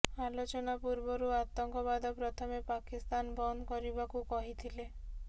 ଆଲୋଚନା ପୂର୍ବରୁ ଆତଙ୍କବାଦ ପ୍ରଥମେ ପାକିସ୍ତାନ ବନ୍ଦ କରିବାକୁ କହିଥିଲେ